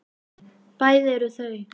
Bæði eru þau